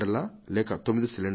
లేక 9 సిలిండర్లా